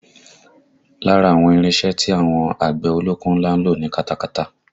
Lára àwọn irinṣẹ́ tí àwọn àgbẹ̀ ọlọ́kọ́ ńlá ń lò ni katakata